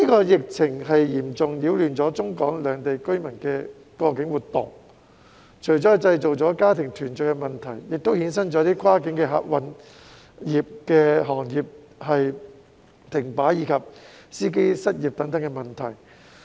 疫情嚴重擾亂中港兩地居民的過境活動，這除了製造家庭團聚的問題，亦衍生出跨境客運行業停擺，以及司機失業等問題。